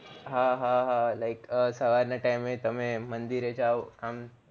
હા હા હા like સવાર ના time તમે મંદિર એ જાવ